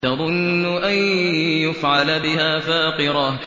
تَظُنُّ أَن يُفْعَلَ بِهَا فَاقِرَةٌ